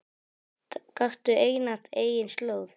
Gakktu einatt eigin slóð.